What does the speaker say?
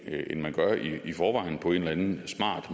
ånden